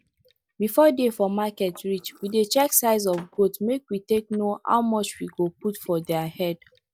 before day for market reach we dey check size of goats make we take know how much we go put for diir head